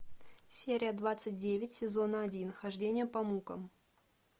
серия двадцать девять сезона один хождение по мукам